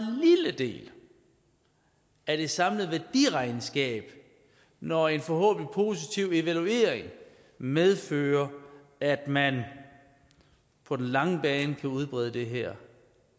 lille del af det samlede værdiregnskab når en forhåbentlig positiv evaluering medfører at man på den lange bane kan udbrede det her